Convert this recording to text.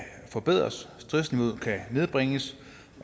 forbedres stressniveauet kan nedbringes